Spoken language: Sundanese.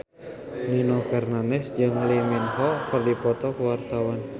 Nino Fernandez jeung Lee Min Ho keur dipoto ku wartawan